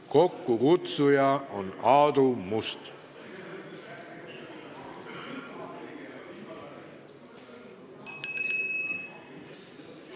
Kokkukutsuja on Aadu Must.